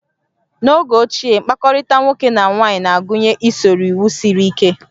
N'oge ochie, mkpakọrịta nwoke na nwaanyị na-agụnye usoro iwu siri ike